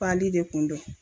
Pali de kun do.